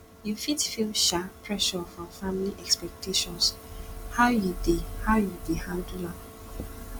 you fit feel um pressure from family expectations how you dey how you dey handle am